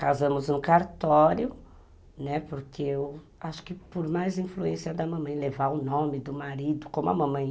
Casamos no cartório, né, porque eu acho que por mais influência da mamãe, levar o nome do marido, como a mamãe.